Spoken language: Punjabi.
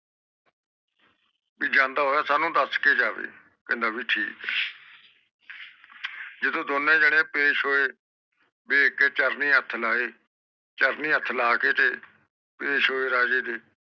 ਵੀ ਜਾਂਦਾ ਹੋਇਆ ਸਾਨੂ ਦਸ ਕੇ ਜਾਵੇ ਜਦੋ ਦੋਨੋ ਜਾਣੇ ਪੇਸ਼ ਹੋਏ ਦੇਖ ਕ ਚਰਣੀ ਹੇਠ ਲਾਏ ਤੇ ਦੇਖ ਕ ਚਰਣੀ ਹੇਠ ਲੈ ਕੇ ਤੇ ਪੇਸ਼ ਹੋਏ ਰਾਜੇ ਦੇ